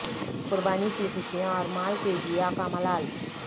قربانی کی خوشیاں اور مال کے ضیاع کا ملال